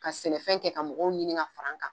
Ka sɛnɛfɛn kɛ ka mɔgɔw ɲini ka fara n kan